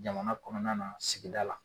Jamana kɔnɔna na sigida la.